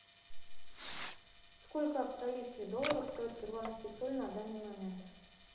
сколько австралийских долларов стоит перуанский соль на данный момент